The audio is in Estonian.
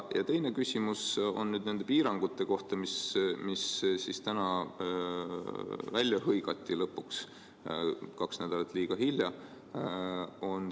Teine küsimus on nende piirangute kohta, mis siis täna lõpuks välja hõigati, kahe nädala võrra liiga hilja.